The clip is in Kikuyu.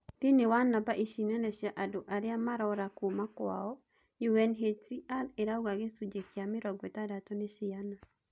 Thiinie wa namba ici nene cia andũ aria maraũra kuuma kwao, UNHCR irauga gicunji gia 60 ni ciana.